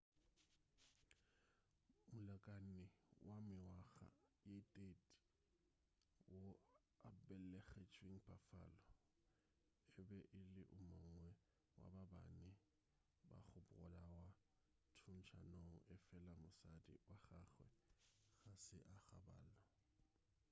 molekani wa mengwaga ye 30 wo a belegetšweng buffalo e be e le o mongwe wa ba bane ba go bolawa thuntšanong efela mosadi wa gagwe ga se a gobalo